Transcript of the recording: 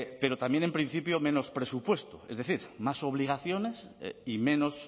pero también en principio menos presupuesto es decir más obligaciones y menos